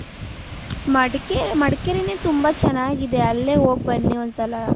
ಮಡಕೆ ಮಡಕೇರಿ ನೆ ತುಂಬಾ ಚೆನ್ನಾಗಿದೆ ಅಲ್ಲೇ ಹೋಗ್ ಬನ್ನಿ ಒಂದ್ ಸಲ .